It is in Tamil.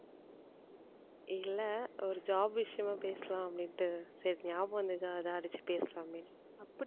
இல்லை ஒரு job விஷயமா பேசலாம் அப்படின்னுட்டு சரி ஞாபகம் வந்துதா அதா அடிச்சு பேசலாமே